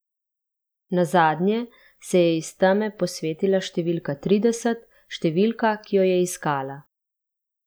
Nazadnje se je iz teme posvetila številka trideset, številka, ki jo je iskala.